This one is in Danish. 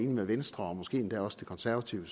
med venstre og måske endda også de konservative